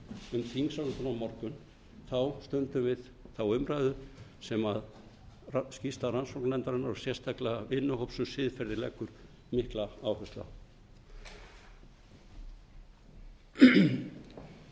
umræðu um þingsályktun á horfum við þá umræðu sem skýrsla rannsóknarnefndarinnar og sérstaklega vinnuhóp um siðferði leggur mikla áherslu á